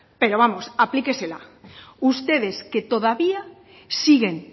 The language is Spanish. pero vamos aplíquesela ustedes que todavía siguen